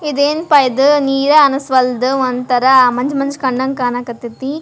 ಎದೇನ್ ಅಪುವ ಇದು ನೀರೇ ಅನ್ಸ್ವಾಲ್ದು ಒಂಥರಾ ಮಂಜ ಮಂಜ ಕನ್ನಂಗ್ ಕಣಕತೀತಿ.